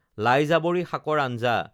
লাইজাবৰি শাকৰ আঞ্জা